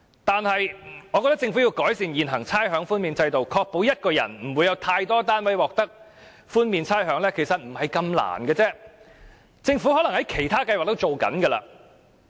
但是，我覺得有需要改善現行的差餉豁免制度，確保不會有一人有太多單位獲得差餉豁免，其實這並不困難，政府可能已在其他計劃上這樣做。